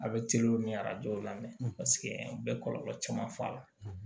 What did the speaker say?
A bɛ ni arajo la mɛ paseke u bɛ kɔlɔlɔ caman fɔ a la